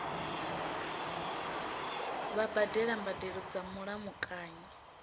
vha badela mbadelo dza mulamukanyi